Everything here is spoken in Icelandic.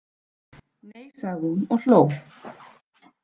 Nei, sagði hún og hló.